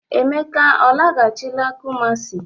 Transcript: Emeka ọ lagachịla Kụmasị?